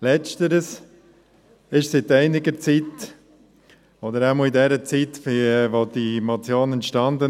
Letzteres ist seit einiger Zeit, oder zumindest in der Zeit, in der die Motion entstand,